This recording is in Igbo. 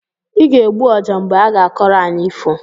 Ị ga-egbu ọjá mgbe aga-akọrọ anyị ifo!